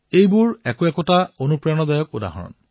এয়া এক প্ৰেৰণাদায়ী উদাহৰণ